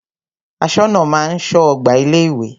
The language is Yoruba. Aṣọ́nà máa ń ṣọ́ ọgbà ilé ìwé.